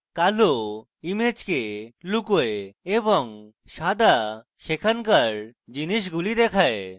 কালো ইমেজকে লুকোয় এবং সাদা সেখানকার জিনিসগুলি দেখায়